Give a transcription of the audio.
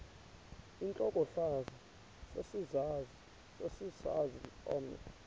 intlokohlaza sesisaz omny